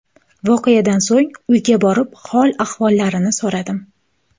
Voqeadan so‘ng uyga borib hol-ahvollarini so‘radim.